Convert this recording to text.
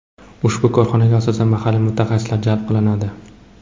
Ushbu korxonaga asosan mahalliy mutaxassislar jalb qilinadi.